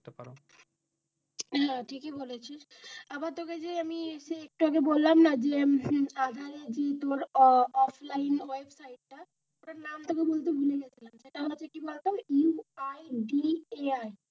না ঠিকই বলেছিস আবার তোকে যে আমি সে একটু আগে আমি বললাম না যে আধারে যে অফলাইন ওয়েবসাইট ওটা নামটা কি বলতে ভুলে গিয়েছিলাম সেটা কি বলতো UIDAI.